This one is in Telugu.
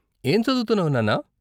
ఏం చదువుతున్నావు నాన్నా?